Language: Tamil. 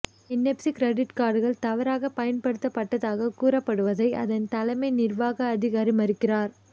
என்எப்சி கிரடிட் கார்டுகள் தவறாகப் பயன்படுத்தப்பட்டதாகக் கூறப்படுவதை அதன் தலைமை நிர்வாக அதிகாரி மறுக்கிறார்